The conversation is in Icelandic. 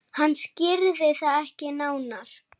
Hann skýrði það ekki nánar.